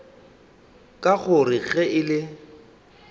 ka gore ge e le